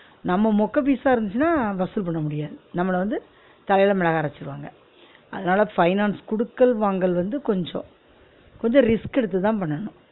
நம்ம மொக்க piece ஆ இருந்திச்சினா வசூல் பண்ண முடியாது நம்மல வந்து தலயில மிளகா அரச்சிருவாங்க அதனால finance குடுக்கல் வாங்கல் வந்து கொஞ்சம் கொஞ்சம் risk எடுத்துதான் பண்ணனும்